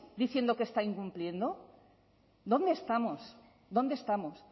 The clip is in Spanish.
diciendo que está incumpliendo dónde estamos dónde estamos